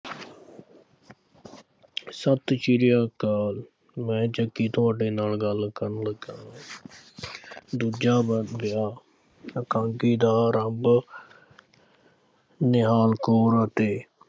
ਸਤਿ ਸ੍ਰੀ ਅਕਾਲ, ਮੈਂ ਜੱਗੀ ਤੁਹਾਡੇ ਨਾਲ ਗੱਲ ਕਰਨ ਲੱਗਿਆਂ। ਦੂਜਾ ਇਕਾਂਗੀ ਦਾ ਆਰੰਭ ਨਿਹਾਲ ਕੌਰ ਅਤੇ